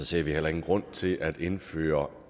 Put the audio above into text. ser vi heller ingen grund til at indføre